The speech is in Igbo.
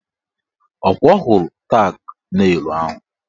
Ọkwa ọ hụrụ tak nelụ ahụ?